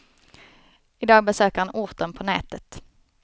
I dag besöker han orten på nätet.